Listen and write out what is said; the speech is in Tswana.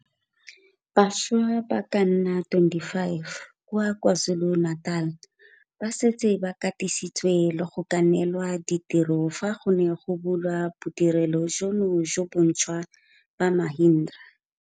Bašwa ba ka nna 25 kwa KwaZulu-Natal ba setse ba katisitswe le go ka neelwa ditiro fa go ne go bulwa Bodirelo jono jo bontšhwa jwa Mahindra.